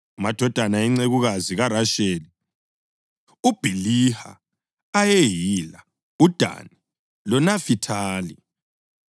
Amadodana encekukazi kaRasheli, uBhiliha ayeyila: uDani loNafithali.